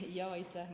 Aitäh!